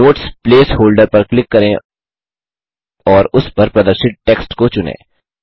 notes place holder पर click करें और उस पर प्रदर्शित टेक्स्ट को चुनें